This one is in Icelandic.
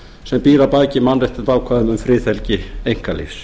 sem býr að baki mannréttindaákvæðum um friðhelgi einkalífs